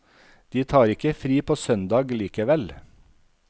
De tar ikke fri på søndag likevel.